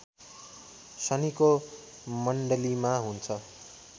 शनिको मण्डलीमा हुन्छ